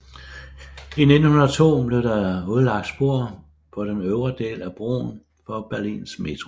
I 1902 blev der udlagt spor på den øvre del af broen for Berlins metro